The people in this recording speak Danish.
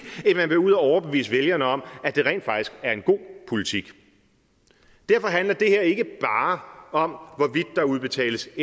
end man vil ud at overbevise vælgerne om at det rent faktisk er en god politik derfor handler det her ikke bare om hvorvidt der udbetales